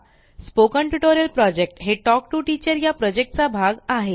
spoken tutorial project हे talk to teacher project चा भाग आहे